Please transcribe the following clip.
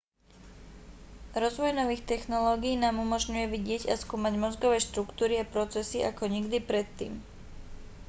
rozvoj nových technológií nám umožňuje vidieť a skúmať mozgové štruktúry a procesy ako nikdy predtým